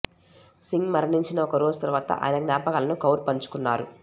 సింగ్ మరణించిన ఒక రోజు తర్వాత ఆయన జ్ఞాపకాలను కౌర్ పంచుకున్నారు